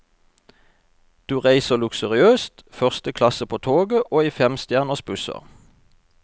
Du reiser luksuriøst, første klasse på toget og i femstjerners busser.